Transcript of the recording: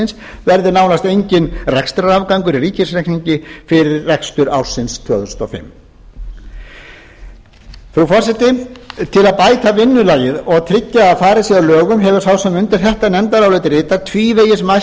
þensluástandsins verði nánast enginn rekstrarafgangur í ríkisreikningi fyrir rekstur ársins tvö þúsund og fimm frú forseti til að bæta vinnulagið og tryggja að farið sé að lögum hefur sá sem undir þetta nefndarálit ritar tvívegis mælt